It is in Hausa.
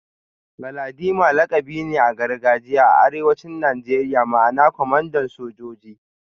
Galadima lakabi ne na gargajiya a arewacin Najeriya ma'ana kwamandan sojoji